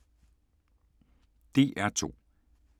DR2